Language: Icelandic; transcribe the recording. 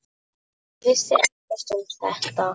Hann vissi ekkert um þetta.